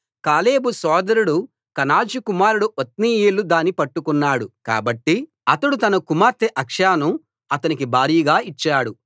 కాలేబు సోదరుడు కనజు కుమారుడు ఒత్నీయేలు దాని పట్టుకున్నాడు కాబట్టి అతడు తన కుమార్తె అక్సాను అతనికి భార్యగా ఇచ్చాడు